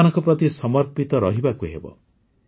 ସେମାନଙ୍କ ପ୍ରତି ସମର୍ପିତ ରହିବାକୁ ହେବ